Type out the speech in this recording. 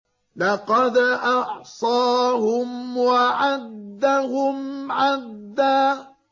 لَّقَدْ أَحْصَاهُمْ وَعَدَّهُمْ عَدًّا